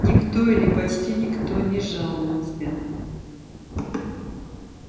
никто или почти никто не жаловался